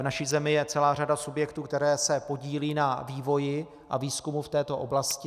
V naší zemi je celá řada subjektů, které se podílejí na vývoji a výzkumu v této oblasti.